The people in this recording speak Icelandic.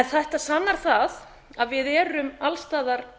þetta sannar það að við erum alls staðar